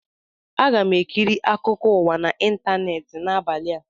Aga m ekiri akụkọ ụwa na ịntaneetị n'abalị a